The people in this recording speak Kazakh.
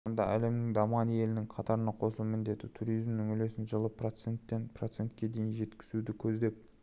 қазақстанды әлемнің дамыған елінің қатарына қосу міндеті туризмнің үлесін жылы проценттен процентке дейін жеткізуді көздеп